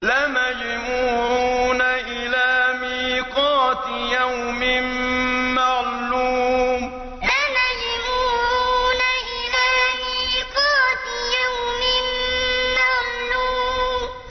لَمَجْمُوعُونَ إِلَىٰ مِيقَاتِ يَوْمٍ مَّعْلُومٍ لَمَجْمُوعُونَ إِلَىٰ مِيقَاتِ يَوْمٍ مَّعْلُومٍ